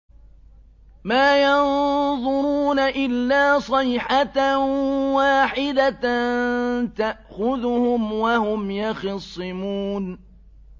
مَا يَنظُرُونَ إِلَّا صَيْحَةً وَاحِدَةً تَأْخُذُهُمْ وَهُمْ يَخِصِّمُونَ